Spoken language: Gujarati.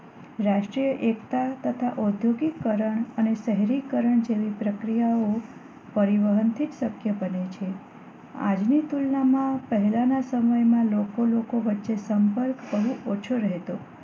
રાષ્ટ્રીય એકતા તથા ઓદ્યોગિક રણ અને શહેરીકરણ જેવી પ્રક્રિયાઓ પરિવહન થી જ શક્ય બને છે આજની તુલના માં પહેલા ના સમયમાં લોકો લોકો વચ્ચે સંપર્ક બહુ ઓછો રહેતો